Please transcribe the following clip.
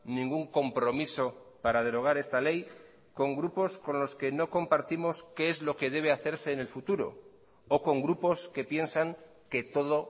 ningún compromiso para derogar esta ley con grupos con los que no compartimos qué es lo que debe hacerse en el futuro o con grupos que piensan que todo